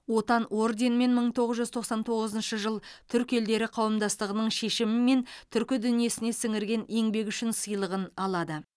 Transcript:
отан орденімен мың тоғыз жүз тоқсан тоғызыншы жыл түркі елдері қауымдастығының шешімімен түркі дүниесіне сіңірген еңбегі үшін сыйлығын алады